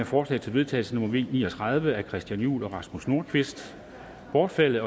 forslag til vedtagelse nummer v ni og tredive af christian juhl og rasmus nordqvist bortfaldet